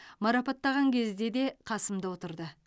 марапаттаған кезде де қасымда отырды